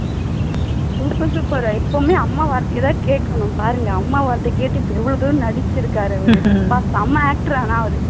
எப்பவுமே அம்மா வார்த்தை தான் கேட்கணும் பாருங்க அம்மா வார்த்தையை கேட்டு இப்போ எவ்வளவு தூரம் நடிச்சிருக்காரு இவரு அப்பா செம actor ஆனால் அவர்